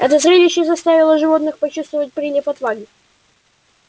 это зрелище заставило животных почувствовать прилив отваги